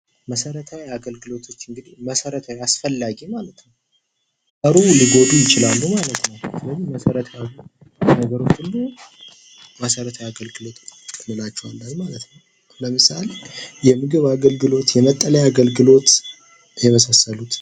መሠረታዊ አገልግሎቶች እንግዲህ መሠረታዊ አስፈላጊ ማለት ነው። ባይኖሩ ሊጎዱ ይችላሉ ማለት ነው ስለዚህ መሠረታዊ ነገሮች ሁሉ መሠረታዊ አገልግሎት እንላቸዋለን ማለት ነው ለምሳሌ የምግብ አገልግሎት የመጠለያ አገልግሎት የመሳሰሉት